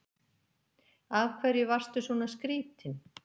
Af hverju varstu svona skrýtin?